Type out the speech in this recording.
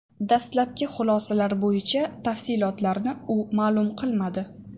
Dastlabki xulosalar bo‘yicha tafsilotlarni u ma’lum qilmadi.